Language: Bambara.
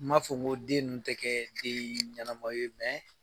N m'a fɔ ko den ninnu tɛ kɛ den ɲɛnama ye